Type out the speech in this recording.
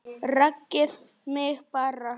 Rekið mig bara!